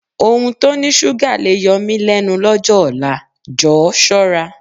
Ohun tó ní ṣúgà le yọ mí lẹ́nu lọ́jọ́ ọ̀la, Jọ̀ọ́ ṣọ́ra.